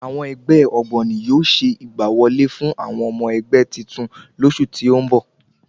Àwọn ẹgbẹ́ ògbóni yóò ṣe ìgbà wọlé fún àwọn ọmọ ẹgbẹ́ titun lósù tí o n bọ